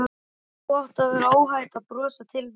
Nú átti að vera óhætt að brosa til mín.